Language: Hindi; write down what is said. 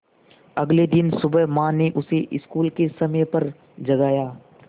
अगले दिन सुबह माँ ने उसे स्कूल के समय पर जगाया